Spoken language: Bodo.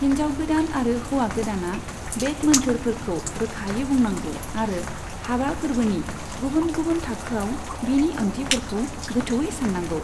हिनजाव गोदान आरो हौवा गोदाना बेद मोन्थोरफोरखौ रोखायै बुंनांगौ आरो हाबा फोर्बोनि गुबुन गुबुन थाखोआव बिनि ओंथिफोरखौ गोथौयै साननांगौ।